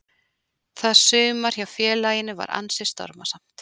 Það sumar hjá félaginu var ansi stormasamt.